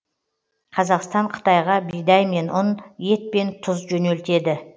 қазақстан қытайға бидай мен ұн ет пен тұз жөнелтеді